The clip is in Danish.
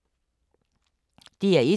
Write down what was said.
DR1